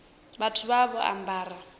vhathu vha vha vho ambara